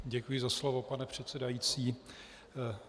Děkuji za slovo, pane předsedající.